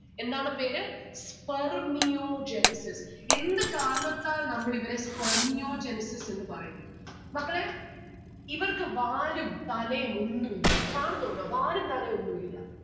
എന്താണ് പേര്? Spermiogenesis എന്ത് കാരണത്താൽ നമ്മൾ ഇവരെ Spermiogenesis എന്ന് പറയുന്നു? മക്കളെ ഇവർക്ക് വാലും തലേം ഒന്നു ഇല്ല കാണുന്നുണ്ടോ വാലും തലേം ഒന്നു ഇല്ല.